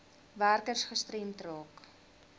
werkers gestremd raak